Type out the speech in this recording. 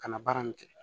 Ka na baara nin kɛ